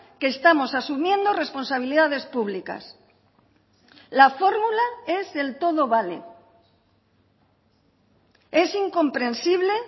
que estamos asumiendo responsabilidades públicas la fórmula es el todo vale es incomprensible